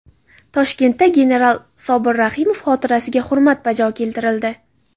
Toshkentda general Sobir Rahimov xotirasiga hurmat bajo keltirildi.